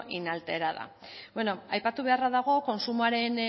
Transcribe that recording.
inalterada bueno aipatu beharra dago kontsumoaren